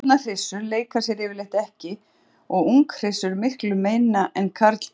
Fullorðnar hryssur leika sér yfirleitt ekki og unghryssur miklu minna en karlkynið.